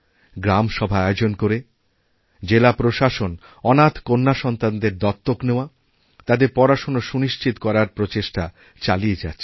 গ্রামসভা আয়োজন করেজেলা প্রশাসন অনাথ কন্যাসন্তানদের দত্তক নেওয়া তাদের পড়াশোনা সুনিশ্চিত করারপ্রচেষ্টা চালিয়ে যাচ্ছে